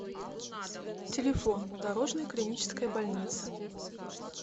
телефон дорожная клиническая больница